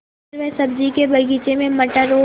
फिर वह सब्ज़ी के बगीचे में मटर और